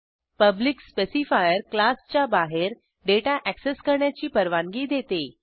public specifier क्लासच्या बाहेर data access करण्याची परवानगी देते